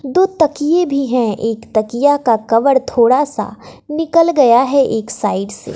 दो तकिए भी है एक तकिया का कवर थोड़ा सा निकल गया है एक साइड से।